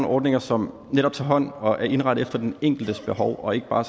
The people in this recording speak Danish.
ordninger som netop tager hånd om og er indrettet efter den enkeltes behov og ikke bare